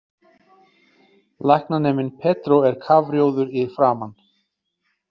Læknaneminn Pedro er kafrjóður í framan.